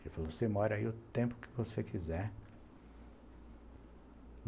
Ele falou, você mora aí o tempo que você quiser.